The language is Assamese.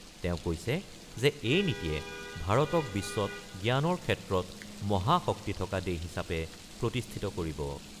তেওঁ কৈছে যে এই নীতিয়ে ভাৰতক বিশ্বত জ্ঞানৰ ক্ষেত্ৰত মহা শক্তি থকা দেশ হিচাপে প্ৰতিষ্ঠিত কৰিব।